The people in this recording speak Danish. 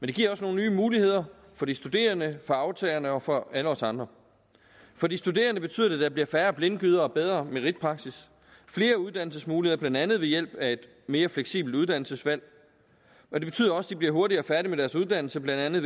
det giver også nogle nye muligheder for de studerende for aftagerne og for alle os andre for de studerende betyder det at der bliver færre blindgyder og bedre meritpraksis flere uddannelsesmuligheder blandt andet ved hjælp af et mere fleksibelt uddannelsesvalg og det betyder også at de bliver hurtigere færdig med deres uddannelse blandt andet